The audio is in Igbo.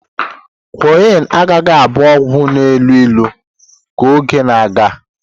Quinne agaghị abụ ọgwụ na-elu ilu ka oge na-aga.